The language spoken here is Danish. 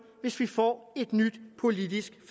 hvis vi får et nyt politisk